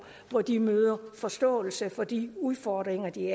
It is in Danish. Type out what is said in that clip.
hvor de møder forståelse for de udfordringer de